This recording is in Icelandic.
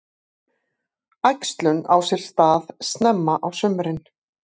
Æxlun á sér stað snemma á sumrin.